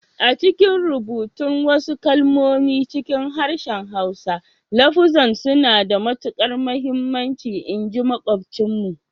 A'cikin rubutun wasu kalmomi cikin harshen Hausa, lafuzzan suna da matukar muhimmanci in ji makwabcinmu.